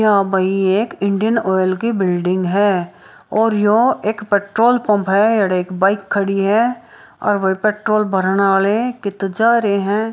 यह भाई एक इंडियन ऑइल की बिल्डिंग है और यो एक पेट्रोल पंप है एड़ एक बाइक खड़ी है और व पेट्रोल भरने वाले किते जा रहें हैं।